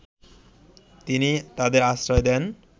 তিনিই তাদের আশ্রয় দেন